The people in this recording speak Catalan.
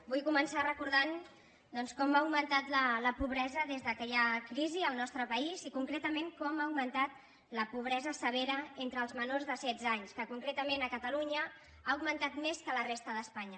vull començar recordant doncs com ha augmentat la pobresa des que hi ha crisi al nostre país i concreta·ment com ha augmentat la pobresa severa entre els menors de setze anys que concretament a catalunya ha augmentat més que a la resta d’espanya